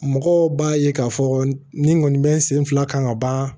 Mɔgɔw b'a ye k'a fɔ ni n kɔni bɛ n sen fila kan ka ban